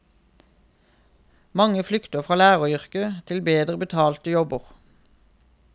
Mange flykter fra læreryrket til bedre betalte jobber.